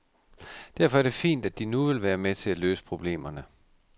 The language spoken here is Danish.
Derfor er det fint, at de nu vil være med til at løse problemerne.